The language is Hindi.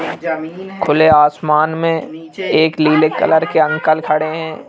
खुले आसमान में एक लीले कलर के अंकल खड़े हैं।